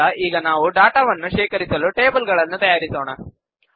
ನಂತರ ಈಗ ನಾವು ಡಾಟಾ ವನ್ನು ಶೇಖರಿಸಲು ಟೇಬಲ್ ಗಳನ್ನು ತಯಾರಿಸೋಣ